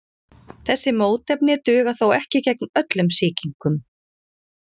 Þessi mótefni duga þó ekki gegn öllum sýkingum.